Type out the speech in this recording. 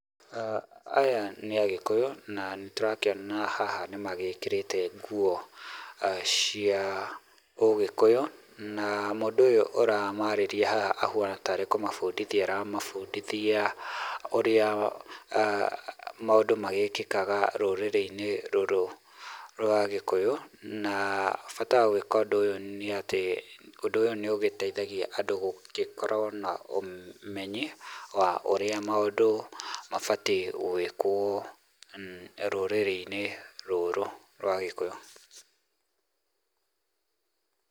Aya nĩ agĩkũyũ na nĩ tũrakĩona haha nĩ magĩkĩrĩte nguo cia ũgĩkũyu, na mũndũ ũyũ ũramarĩria haha ahuana ta rĩ kũmabundithia aramabundithia ũrĩa maũndũ magĩkĩkaga rũrĩrĩ-inĩ rũrũ rwa gĩkũyu, na bata wa gwĩka ũndũ ũyũ nĩ atĩ, ũndũ ũyũ nĩũgĩteithagia andũ gũgĩkorwo na ũmenyi wa ũrĩa maũndũ mabatiĩ gwĩkwo rũrĩrĩ-inĩ rũrũ rwa gĩkũyũ.